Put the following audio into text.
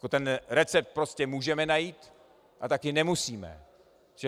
Ten recept prostě můžeme najít a taky nemusíme.